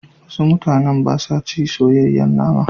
Wasu mutanen ba sa ci soyayyen nama.